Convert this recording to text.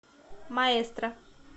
маэстро